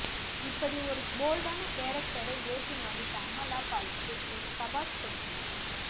இப்படி ஒரு போல்டான கேரக்டரை ஏற்று நடித்த அமலா பாலுக்கு ஒரு சபாஷ் கொடுக்கலாம்